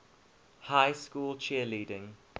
high school cheerleading